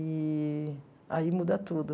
Eee aí muda tudo.